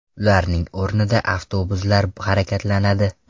Ularning o‘rnida avtobuslar harakatlanadi .